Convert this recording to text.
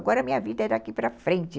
Agora a minha vida é daqui para frente.